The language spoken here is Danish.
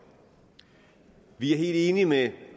vi er helt enige med